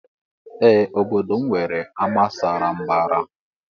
Ee obodo mụ nwere ama sara mbara.